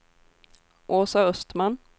Åsa Östman